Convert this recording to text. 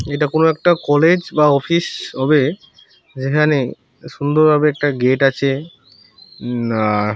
এটা কোনো একটা কলেজ বা অফিস হবে যেখানে সুন্দর ভাবে একটা গেট আছে । নন আর --